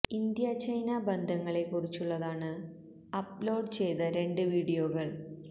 India China ബന്ധങ്ങളെ കുറിച്ചുള്ളതാണ് upload ചെയ്ത രണ്ട് വീഡിയോകൾ